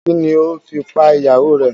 Kini o fi pa ìyàwó rè?